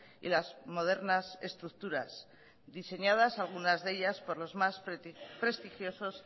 y las modernas estructuras diseñadas algunas de ellas por los más prestigiosos